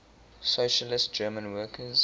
socialist german workers